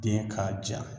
Den ka jan